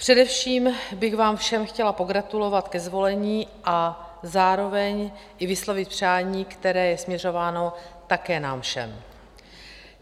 Především bych vám všem chtěla pogratulovat ke zvolení a zároveň i vyslovit přání, které je směřováno také nám všem.